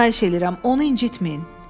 Xahiş edirəm, onu incitməyin.